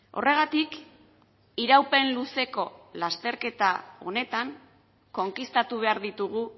horregatik iraupen luzeko lasterketa honetan konkistatu behar ditugu